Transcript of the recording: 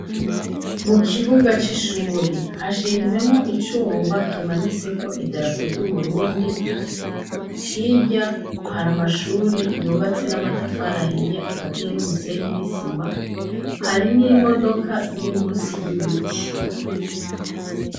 Mu kibuga c'ishuri hashinzemwo icuma kimanitse ko idarako ry'uburundi hirya hari amashuri yubatse n'amatafaraahiya akaziye n'umusenyi n'isima hari n'imodoka ziri musi y'ibiti.